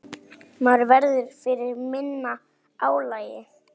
Maður verður fyrir minna álagi.